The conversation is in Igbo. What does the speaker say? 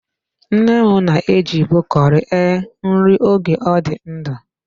Nne m na-ejibu curry e nri oge ọ dị ndụ.